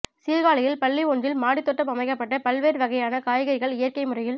சீா்காழியில் பள்ளி ஒன்றில் மாடித் தோட்டம் அமைக்கப்பட்டு பல்வேறு வகையான காய்கறிகள் இயற்கை முறையில்